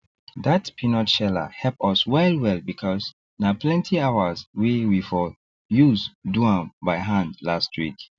dat peanut sheller help us well well because na plenty hours wey we for use do am by hand last week